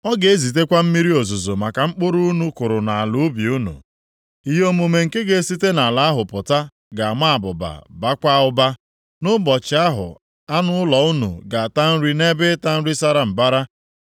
Ọ ga-ezitekwa mmiri ozuzo maka mkpụrụ unu kụrụ nʼala ubi unu, ihe omume nke ga-esite nʼala ahụ pụta ga-ama abụba baakwa ụba. Nʼụbọchị ahụ anụ ụlọ unu ga-ata nri nʼebe ịta nri sara mbara.